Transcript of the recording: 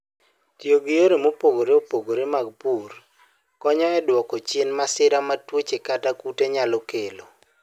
Tiyo gi yore mopogore opogore mag pur konyo e dwoko chien masira ma tuoche kata kute nyalo kelo.